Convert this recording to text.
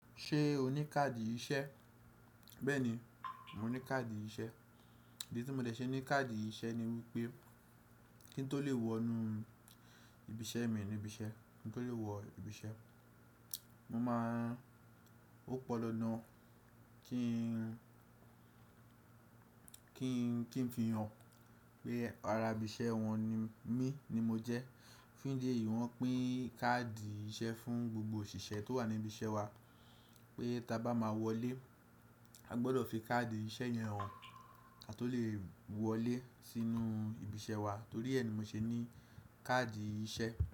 Ṣé o ní káàdì iṣẹ́? Bẹ́ẹ̀ni, mo ní káàdì iṣẹ́. Ìdí tí mo dẹ̀ ṣe ní káàdì iṣẹ́ ni wípé kí ń tó lè wọ inú ibi iṣẹ́ mi ni ibi iṣẹ́, kí ń tó lè wọ ibi iṣẹ́, mo máa ń-- ó pọn dandan kí ń, kí ń, kí ń fi hàn pé ara ibi iṣẹ́ wọn ni mí ni mo jẹ́. Fún ìdí èyí wọn pín káàdì iṣẹ́ fún gbogbo òṣìṣẹ́ tó wà ní ibi iṣẹ́ wa pé tí a bá máa wọlé, a gbọdọ̀ fi káàdì iṣẹ́ yẹn hàn kí a tó lè wọlé sínú ibi iṣẹ́ wa torí ẹ ni mo ṣe ní káàdì iṣẹ́